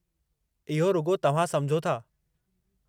इहो रुॻो तव्हां समुझो था।